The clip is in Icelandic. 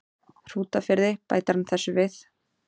Hrútafirði, bætir hann þessu við